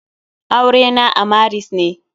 Aure na a maris ne.